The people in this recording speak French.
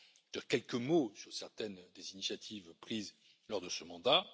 Je dirai quelques mots sur certaines des initiatives prises lors de ce mandat.